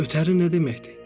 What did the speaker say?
Ötəri nə deməkdir?